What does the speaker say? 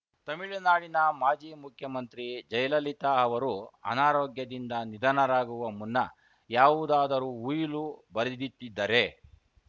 ತಮಿಳುನಾಡಿನ ಮಾಜಿ ಮುಖ್ಯಮಂತ್ರಿ ಜಯಲಲಿತಾ ಅವರು ಅನಾರೋಗ್ಯದಿಂದ ನಿಧನರಾಗುವ ಮುನ್ನ ಯಾವುದಾದರೂ ಉಯಿಲು ಬರೆದಿಟ್ಟಿದ್ದರೆ